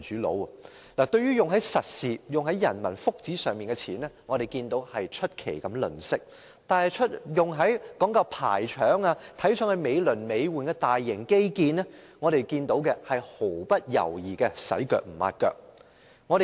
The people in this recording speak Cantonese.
政府用在實事及人民福祉上的錢出奇地吝嗇，但用在講究排場、看來美輪美奐的大型基建上的錢卻是毫不猶豫的"洗腳唔抹腳"。